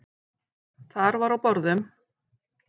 Þar var á borðum: